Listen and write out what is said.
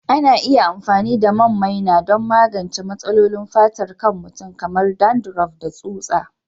Ana iya amfani da man maina don magance matsalolin fatar kan mutum kamar dandruff da tsutsa